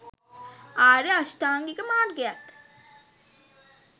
ආර්ය අෂ්ටාංගික මාර්ගයත්